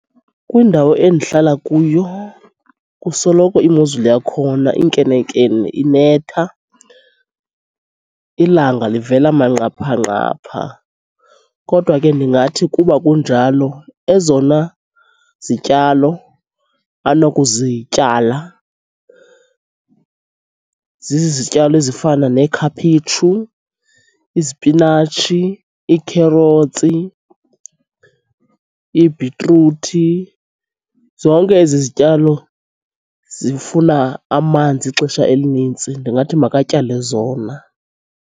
Kwindawo endihlala kuyo kusoloko imozulu yakhona inkenenkene inetha, ilanga livela manqaphanqapha. Kodwa ke ndingathi kuba kunjalo ezona zityalo anokuzityala zizityalo ezifana neekhaphetshu, izipinatshi, iikherothsi, ibhitruthi, zonke ezi zityalo zifuna amanzi ixesha elinintsi ndingathi makatyale zona.